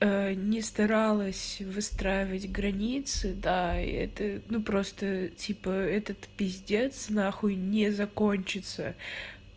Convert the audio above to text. не старалась выстраивать границы да это ну просто типа этот пиздец нахуй не закончится